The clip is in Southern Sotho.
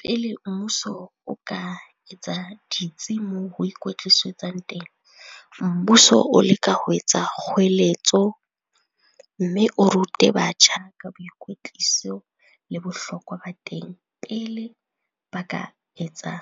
Pele mmuso o ka etsa ditsi moo ho ikwetlisetswang teng. Mmuso o leka ho etsa kgoeletso mme o rute batjha ka boikwetliso le bohlokwa ba teng pele ba ka etsa